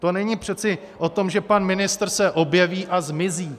To není přece o tom, že pan ministr se objeví a zmizí.